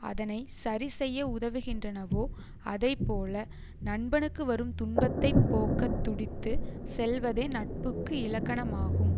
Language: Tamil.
அதனை சரிசெய்ய உதவுகின்றனவோ அதை போல நண்பனுக்கு வரும் துன்பத்தை போக்கத் துடித்து செல்வதே நட்புக்கு இலக்கணமாகும்